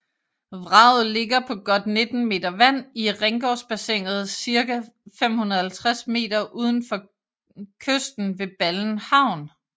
Vraget ligger på godt 19 meter vand i Ringgårdsbassinet cirka 550 meter udfor kysten ved Ballen Havn